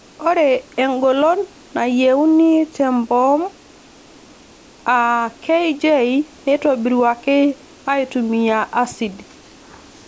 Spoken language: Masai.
Ore engolon nayieuni te mboom aa kJ neitobiruaki aaitumiya asid.